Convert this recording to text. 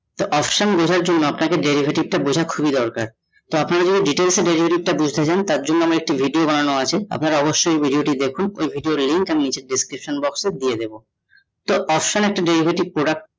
তো option বোঝার জন্য আপনাকে derivative তা বোঝা খুবই দরকার । তা আপনারা যদি derivative টা বুজতে চান তার জন্য আমার একটি video বানানো আছে আপনারা অবশ্যই ওই video টা দেখুন, ওই video এর link আমি description box এ দিয়ে দেব ।